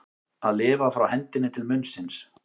Að lifa frá hendinni til munnsins